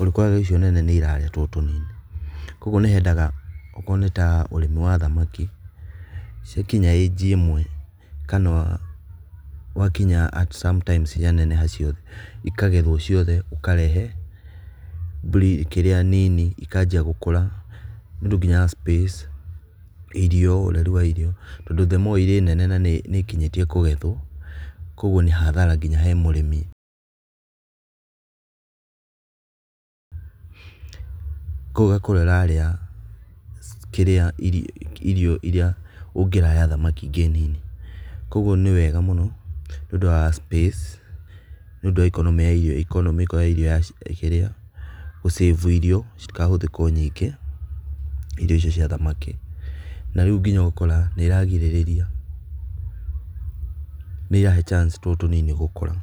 ũrĩkoraga icio nene nĩirarĩa tũtũ tũnini. Kũguo nĩ hendaga okorwo nĩ ta ũrĩmi wa thamaki, ciakinya aji ĩmwe kana gwakinya at sometimes cianeneha ciothe, ikagethwo ciothe ũkarehe briidi-kĩrĩa nini ikanjia gũkura. Nĩũndũ nginya space, irio, ũreri wa irio, tondũ the more irĩ nene na nĩ ikinyĩtie kũgethwo kũguo nĩ hathara nginya he mũrĩmi kũguo ũgakora ĩrarĩa kĩrĩa, irio irĩa ũngĩrahe thamaki ingĩ nini. Kũguo nĩ wega mũno nĩũndũ wa space, nĩũundũ wa ikonomĩ ya irio, ikonomĩko ya irio, gu- save irio, citikahũthĩkwo nyingĩ, irio icio cia thamaki. Na rĩũ nginya ũgakora nĩiragirĩrĩa, nĩirahe chance tũtũ tũnini gũkũra.